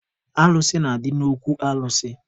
Alụsị na-adị n'okwu alụsị.